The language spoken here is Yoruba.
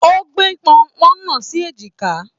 O gbé pọ́npọ́n náà sì èjìkà.